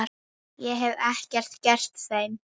Ég hef ekkert gert þeim.